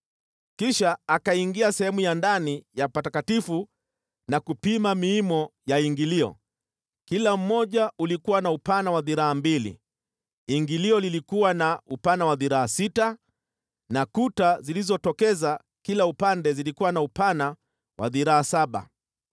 Kisha akaingia sehemu takatifu ndani ya Hekalu na kupima miimo ya ingilio, kila mmoja ulikuwa na upana wa dhiraa mbili. Ingilio lilikuwa na upana wa dhiraa sita, na kuta zilizotokeza kila upande zilikuwa na upana wa dhiraa saba.